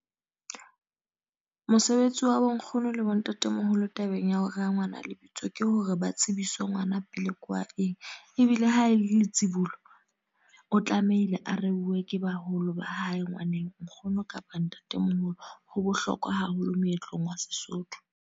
Mosebetsi wa bonkgono le bontatemoholo tabeng ya ho rea ngwana lebitso. Ke hore ba tsebise ngwana pele ke wa eng. Ebile ha e le tsibolo, o tlamehile a reuwe ke baholo ba hae ngwaneng, nkgono kapa ntatemoholo. Ho bohlokwa haholo moetlong wa Sesotho.